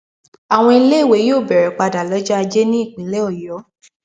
àwọn iléèwé yóò bẹrẹ padà lọjọ ajé nípínlẹ ọyọ